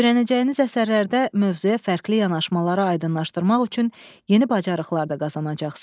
Öyrənəcəyiniz əsərlərdə mövzuya fərqli yanaşmaları aydınlaşdırmaq üçün yeni bacarıqlar da qazanacaqsınız.